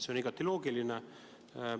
See on igati loogiline.